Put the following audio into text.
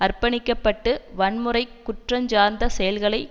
அர்ப்பணிக்கப்பட்டு வன்முறை குற்றஞ்சார்ந்த செயல்களை